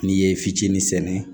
N'i ye fitinin sɛnɛ